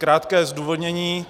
Krátké zdůvodnění.